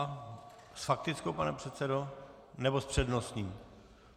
Aha, s faktickou, pane předsedo, nebo s přednostním?